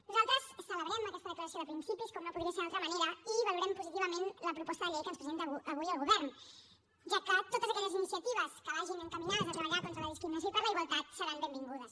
nosaltres celebrem aquesta declaració de principis com no podria ser d’altra manera i valorem positivament la proposta de llei que ens presenta avui el govern ja que totes aquelles iniciatives que vagin encaminades a treballar contra la discriminació i per la igualtat seran benvingudes